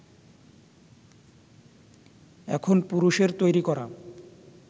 এখন পুরুষের তৈরি করা